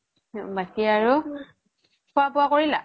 বাকি আৰু খুৱা বুৱা কৰিলা